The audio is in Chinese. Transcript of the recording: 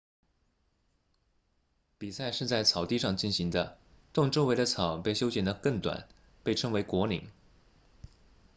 比赛是在草地上进行的洞周围的草被修剪得更短被称为果岭